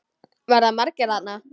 Verða margir þarna?